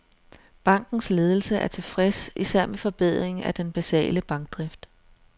Bankens ledelse er tilfreds især med forbedringen af den basale bankdrift.